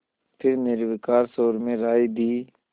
फिर निर्विकार स्वर में राय दी